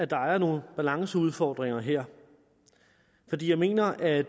der er nogle balanceudfordringer her jeg mener at